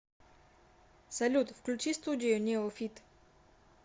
салют включи студию неофит